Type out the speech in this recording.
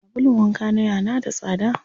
Sabulun wanka na yana da tsada.